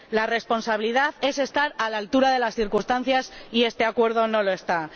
La responsabilidad es estar a la altura de las circunstancias y este acuerdo no lo está.